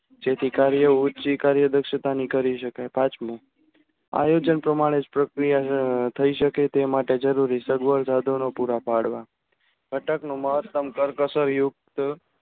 જેથી કાર્ય ઓછી કાર્ય દક્ષતા ની કરી સકાય પાંચમું આયોજન પ્રમાણે જ પ્રક્રિયા થઇ સકે તે માટે જરૂરી સગવડ સાધનો પુરા પાડવા ગટક નું મહત્તમ કરકસર યુક્ત